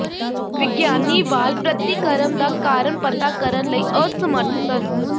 ਵਿਗਿਆਨੀ ਵਾਲ ਪ੍ਰਤੀਕਰਮ ਦਾ ਕਾਰਨ ਪਤਾ ਕਰਨ ਲਈ ਅਸਮਰੱਥ ਸਨ